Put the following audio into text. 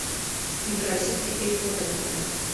игра сити и тоттенхэма